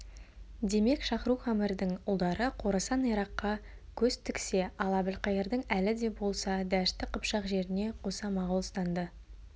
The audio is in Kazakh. демек шахрук әмірдің ұлдары қорасан иракқа көз тіксе ал әбілқайырдың әлі де болса дәшті қыпшақ жеріне қоса моғолстанды